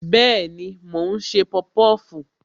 Bẹẹni, mo ń ṣe popofu.